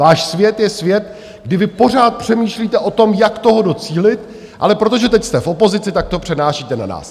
Váš svět je svět, kdy vy pořád přemýšlíte o tom, jak toho docílit, ale protože teď jste v opozici, tak to přenášíte na nás.